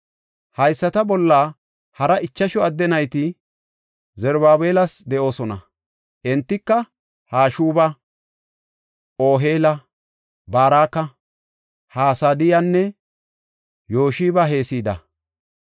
Hayisata bolla hara ichashu adde nayti Zarubaabelas de7oosona; entika Hashuba, Oheela, Baraka, Hasadiyanne Yoshab-Heseda.